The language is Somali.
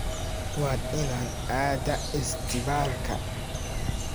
Waa inaad aadaa isbitaalka.